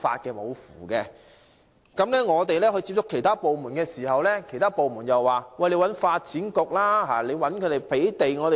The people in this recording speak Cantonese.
當我們接觸其他部門的時候，它們又說應該要求發展局提供土地。